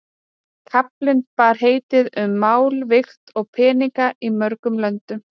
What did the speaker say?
Kaflinn bar heitið Um mál, vigt og peninga í mörgum löndum.